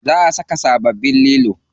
Za a saka sababbin lilo.